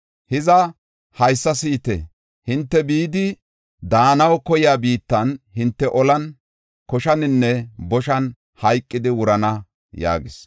Hiza, haysa si7ite; hinte bidi daanaw koyiya biittan hinte olan, koshaninne boshan hayqidi wurana” yaagis.